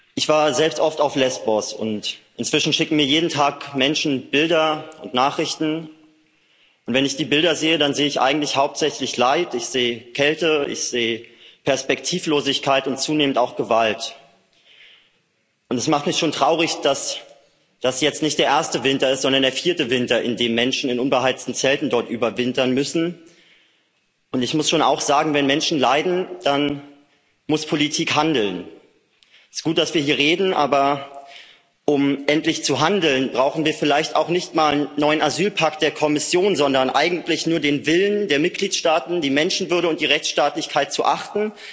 Frau Präsidentin! Vielen Dank, Frau Johansson, für Ihre Worte, für Ihre wirklich starken Worte und Anstrengungen. Ich war selbst oft auf Lesbos, und inzwischen schicken mir jeden Tag Menschen Bilder und Nachrichten. Wenn ich die Bilder sehe, dann sehe ich eigentlich hauptsächlich Leid, ich sehe Kälte, ich sehe Perspektivlosigkeit und zunehmend auch Gewalt. Und es macht mich schon traurig, dass das jetzt nicht der erste Winter ist, sondern der vierte Winter, in dem Menschen in unbeheizten Zelten dort überwintern müssen. Ich muss schon auch sagen Wenn Menschen leiden, dann muss Politik handeln. Es ist gut, dass wir hier reden, aber um endlich zu handeln, brauchen wir vielleicht auch nicht mal einen neuen Asylpakt der Kommission, sondern eigentlich nur den Willen der Mitgliedstaaten, die Menschenwürde und die Rechtsstaatlichkeit zu achten,